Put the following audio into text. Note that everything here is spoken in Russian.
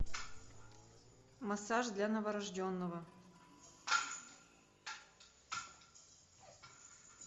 массаж для новорожденного